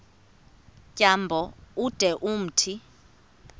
tyambo ude umthi